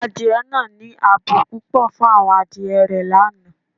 Adié naa ni àábò pupọ̀ fun awọn adié rẹ̀ lánà